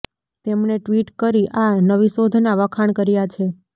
તેમણે ટ્વિટ કરી આ નવી શોધના વખાણ કર્યા છે